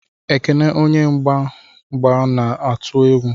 Ekene onye mgba mgba na-atụ egwu.